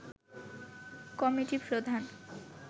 committee প্রধান